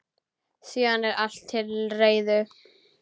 Síðan er allt til reiðu.